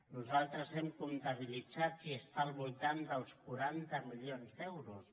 nosaltres ho hem comptabilitzat i està al voltant dels quaranta milions d’euros